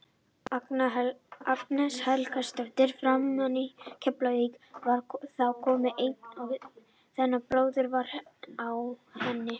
Agnes Helgadóttir framherji Keflavíkur var þá komin ein í gegn þegar brotið var á henni.